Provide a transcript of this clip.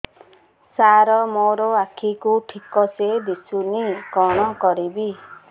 ସାର ମୋର ଆଖି କୁ ଠିକସେ ଦିଶୁନି କଣ କରିବି